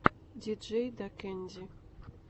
диджейдакэнди